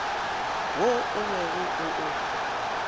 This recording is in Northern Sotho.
wo o bego o o